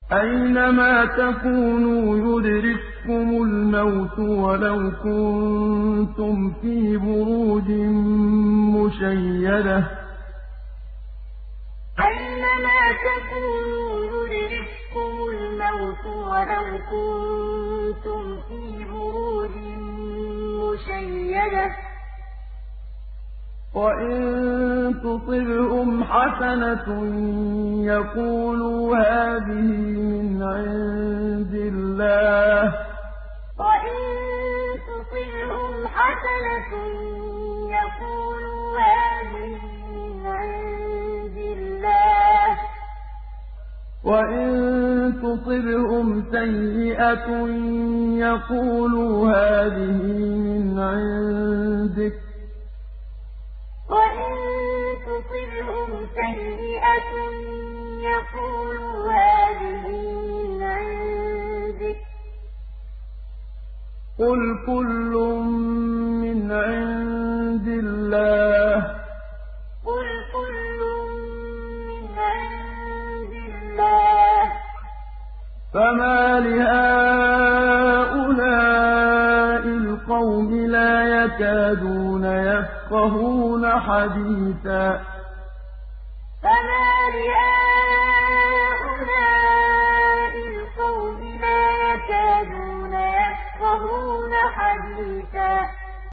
أَيْنَمَا تَكُونُوا يُدْرِككُّمُ الْمَوْتُ وَلَوْ كُنتُمْ فِي بُرُوجٍ مُّشَيَّدَةٍ ۗ وَإِن تُصِبْهُمْ حَسَنَةٌ يَقُولُوا هَٰذِهِ مِنْ عِندِ اللَّهِ ۖ وَإِن تُصِبْهُمْ سَيِّئَةٌ يَقُولُوا هَٰذِهِ مِنْ عِندِكَ ۚ قُلْ كُلٌّ مِّنْ عِندِ اللَّهِ ۖ فَمَالِ هَٰؤُلَاءِ الْقَوْمِ لَا يَكَادُونَ يَفْقَهُونَ حَدِيثًا أَيْنَمَا تَكُونُوا يُدْرِككُّمُ الْمَوْتُ وَلَوْ كُنتُمْ فِي بُرُوجٍ مُّشَيَّدَةٍ ۗ وَإِن تُصِبْهُمْ حَسَنَةٌ يَقُولُوا هَٰذِهِ مِنْ عِندِ اللَّهِ ۖ وَإِن تُصِبْهُمْ سَيِّئَةٌ يَقُولُوا هَٰذِهِ مِنْ عِندِكَ ۚ قُلْ كُلٌّ مِّنْ عِندِ اللَّهِ ۖ فَمَالِ هَٰؤُلَاءِ الْقَوْمِ لَا يَكَادُونَ يَفْقَهُونَ حَدِيثًا